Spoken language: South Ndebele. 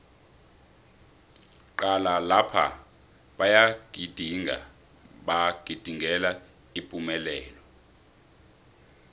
cala lapha bayagidinga bagidingela ipumelelo